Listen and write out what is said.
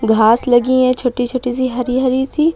घास लगी हैं छोटी छोटी सी हरी हरी सी।